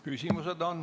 Küsimusi on.